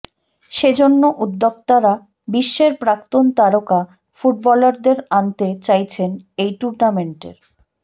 সেজন্য উদ্যোক্তারা বিশ্বের প্রাক্তন তারকা ফুটবলারদের আনতে চাইছেন এই টুর্নামেন্টের